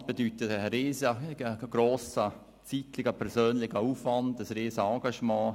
Ein solches Amt bedeutet einen riesengrossen persönlichen zeitlichen Aufwand, ein Riesenengagement.